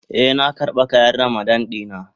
Eh, nan karba kayan Ramadan na.